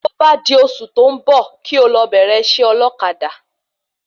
Tí ó bá di oṣù tó ń bò kí o lọ bẹ̀rẹ̀ isẹ́ ọlọ́kadà